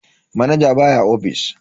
Manaja baya ofis.